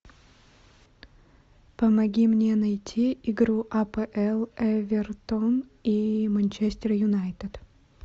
помоги мне найти игру апл эвертон и манчестер юнайтед